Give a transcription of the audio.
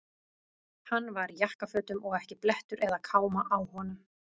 Hann var í jakkafötum og ekki blettur eða káma á honum.